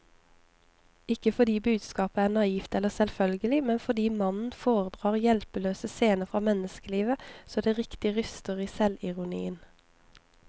Ikke fordi budskapet er naivt eller selvfølgelig, men fordi mannen foredrar hjelpeløse scener fra menneskelivet så det riktig ryster i selvironien.